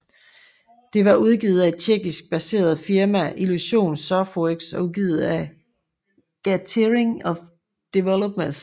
Det var udviklet af et Tjekkisk baseret firma Illusion Softworks og udgivet af Gathering of Developers